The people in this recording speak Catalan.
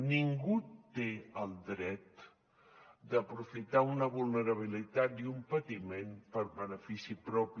ningú té el dret d’aprofitar una vulnerabilitat i un patiment per benefici propi